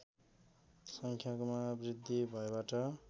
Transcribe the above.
सङ्ख्यामा वृद्धि भएबाट